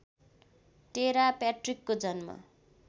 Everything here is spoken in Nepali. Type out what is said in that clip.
टेरा प्याट्रिकको जन्म